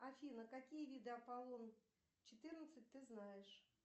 афина какие виды аполлон четырнадцать ты знаешь